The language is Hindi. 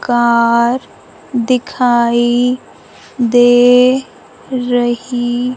कार दिखाई दे रही--